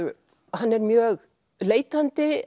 hann er mjög leitandi